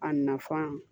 A nafan